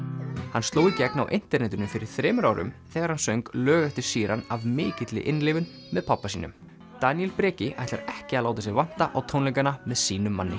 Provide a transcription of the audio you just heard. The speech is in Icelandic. hann sló í gegn á internetinu fyrir þremur árum þegar hann söng lög eftir Sheeran af mikilli innlifun með pabba sínum Daníel Breki ætlar ekki að láta sig vanta á tónleikana með sínum manni